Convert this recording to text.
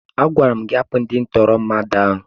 Agwara m gị hapụ ndị ntụrụ mmadụ ahụ!